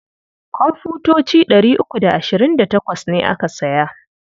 Komfutoci ɗari uku da ashirin da tawas ne aka saya.